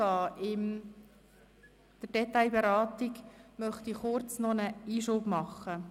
Bevor ich mit der Detailberatung weiterfahre, möchte ich kurz einen Einschub machen.